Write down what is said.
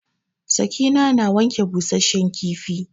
Sakina na wanke busashen kifi.